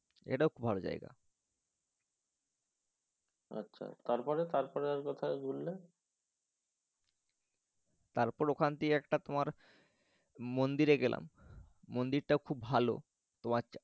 এটাও খুব ভালো জায়গা। আচ্ছা। তারপরে তারপরে আর কথায় ঘুরলে? তারপর ওখান দিয়ে একটা তোমার মন্দিরে গেলাম মন্দিরটাও খুব ভালো। তোমার